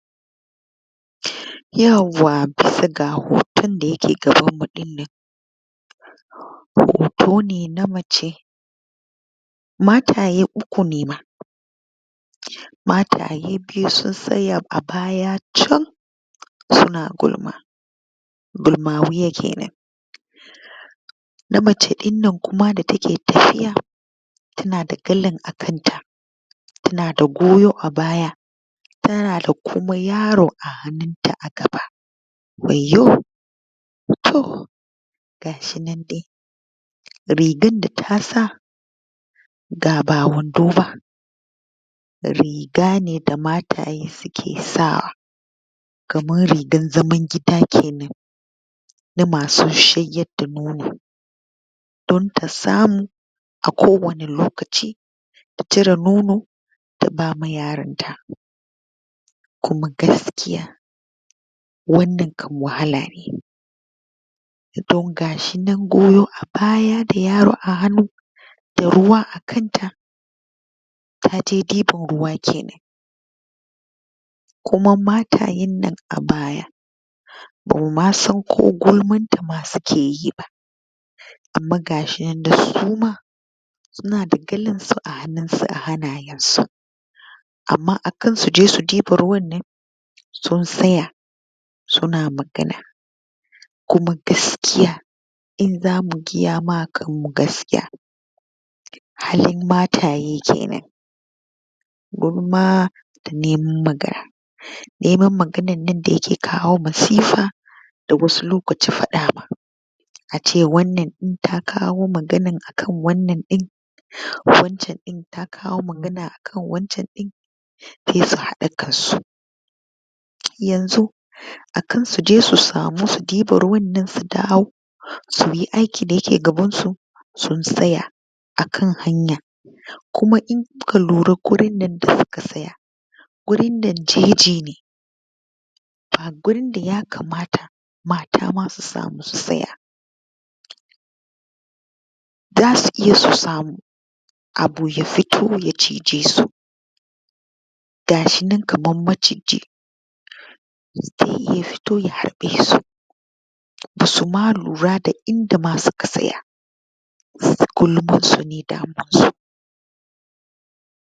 Yawwa! Bisa ga hoton da ya ke gabanmu ɗinnan, hoto ne na mace mataye uku ne ma, mataye biyu sun tsaya a baya can su na gulma, gulman wani kenan, na mace ɗinnan kuma da ta ke tafiya ta na da galan a kanta, ta na da goyo a baya, ta na da kuma yaro a hannunta a gaba, wayyo! To gashi nan dai rigan da ta sa ga ba wando ba riga ne da mataye su ke sawa, kaman rigan zaman gida kenan, na ma su shayar da nono, don ta samu a kowane lokaci ta cire nono ta ba ma yaronta, kuma gaskiya wannan kam wahala ne, don gashi nan goyo a baya da yaro a hannu da ruwa a kanta, ta je ɗiban ruwa kenan, kuma matayen nan a baya bamu ma san ko gulmanta ma su ke yi ba, kuma ga shi nan suma su na da galansu a hannunsu a hannayensu, amma akan su je su ɗiba ruwan ne sun tsaya su na magana, kuma gaskiya in za mu gaya ma kanmu gaskiya halin mataye kenan, gulma da neman magana neman maganar nan da ya ke kawo masifa da wasu lokaci faɗa ma, a ce wannan ɗin ta kawo magana a kan wannan ɗin, wancan ɗin ta kawo magana a kan wancan ɗin, sai su haɗa kansu yanzu akan su je su samu su ɗiba ruwan nan su dawo suyi aikin da ya ke gabansu sun tsaya a kan hanya, kuma in kuka lura gurin nan da suka tsaya gurin nan jeji ne, ba gurin da yakamata mata ma su samu su tsaya, za su iya su samu abu ya fito ya cije su, ga shi nan kaman maciji zai iya ya fito ya haɗe su, ba su ma lura da inda ma suka tsaya su gulamarsu ne damuwarsu.